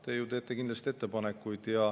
Te ju teete kindlasti ettepanekuid.